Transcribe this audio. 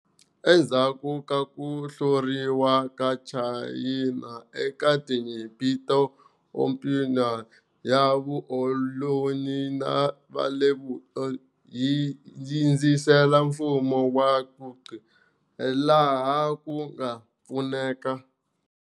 Endzhaku ka ku hluriwa ka China eka Tinyimpi ta Opium, ya vukoloni ya le Vupela yi sindzise mfumo wa Qing laha ku nga pfuneka.